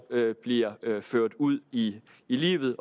bliver ført ud i livet